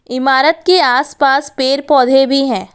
इमारत के आस पास पेर पौधे भी हैं।